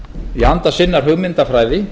í anda sinnar hugmyndafræði